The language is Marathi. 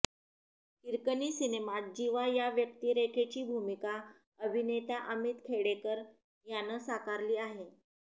हिरकणी सिनेमात जीवा या व्यक्तिरेखेची भूमिका अभिनेता अमित खेडेकर यानं साकारली आहे